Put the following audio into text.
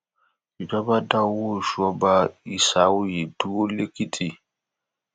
ìjọba dá owó oṣù ọba isaoye dúró lẹkìtì